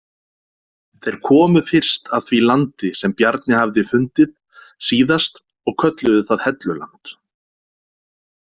Þeir komu fyrst að því landi sem Bjarni hafði fundið síðast og kölluðu það Helluland.